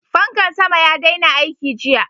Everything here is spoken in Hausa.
Fankan sama ya daina aiki jiya.